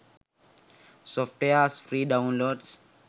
softwares free download